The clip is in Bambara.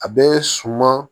A bɛ suman